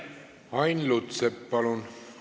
Ain Lutsepp, palun!